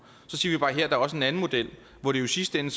at her er der også en anden model hvor det i sidste ende